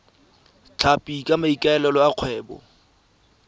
tlhapi ka maikaelelo a kgwebo